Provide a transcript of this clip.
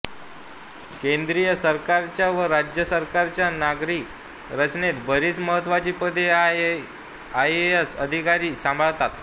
केंद्रीय सरकारच्या व राज्य सरकारांच्या नागरी रचनेत बरीच महत्त्वाची पदे आय ए एस अधिकारी सांभाळतात